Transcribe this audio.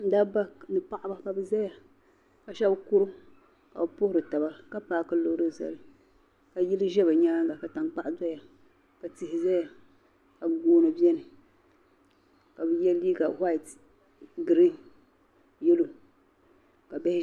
Dabba ni. paɣiba ka bizaya ka shab kurim ka bi puhiri taba ka paaki lɔɔri zali. ka yili zɛ bi nyaaŋa ka tankpaɣu dɔya. ka tihi zaya ka gooni beni ka bi ye liiga whilt. green. yalɔw.